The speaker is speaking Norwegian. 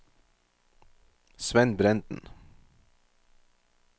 Svend Brenden